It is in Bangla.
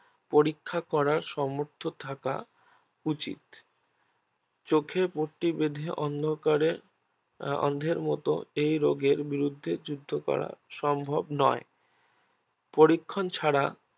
পরীক্ষা করার সম্মর্থ থাকা উচিত চোখে পট্টি বেধে অন্ধকারে অন্ধের মতো এ রোগের বিরোদ্ধ যুদ্ধ করা সম্ভব নয় পরীক্ষণ ছাড়া